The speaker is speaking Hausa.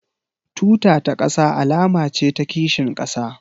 Tuta ta ƙasa alama ce ta kishin ƙasa